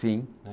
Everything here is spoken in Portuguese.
Sim. Eh